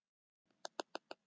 Þar sagði hann.